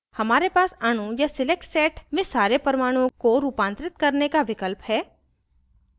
हमारे पास अणु या select set में सारे परमाणुओं को रूपांतरित करने का विकल्प है